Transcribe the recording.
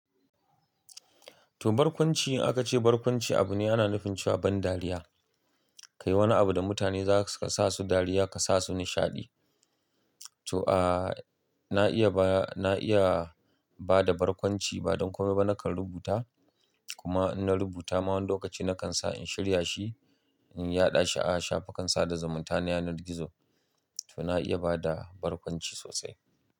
To barkwanci, aka ce barkwanci abu ne ana nufin cewa ban dariya. Kai wani abu da mutane zaka sa su dariya ka sa su nishaɗi. To a, na iya ba, na iya ba da barkwanci ba don komai ba nakan rubuta kuma in na rubuta ma wani lokaci nakan sa in shirya shi in yaɗa shi'a shafukan sa da zimunta na yanar gizo. To na iya bada barkwanci sosai.